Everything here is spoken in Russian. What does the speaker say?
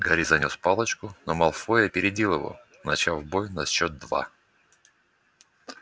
гарри занёс палочку но малфой опередил его начав бой на счёт два